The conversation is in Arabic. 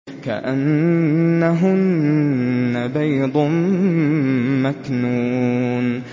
كَأَنَّهُنَّ بَيْضٌ مَّكْنُونٌ